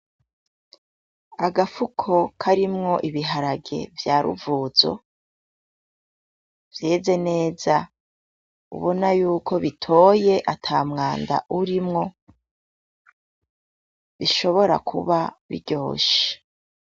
Agafuko karimwo ibiharage vya ruvuzo vyeze neza, ubona yuko bitoye ata mwanda urimwo bishobora kuba biryoshe.